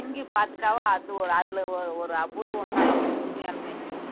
தங்கி பாத்துட்டாவே அது ஒரு அதுல ஒரு ஒரு அபூர்வம்தான் நமக்கு உண்மையாலுமே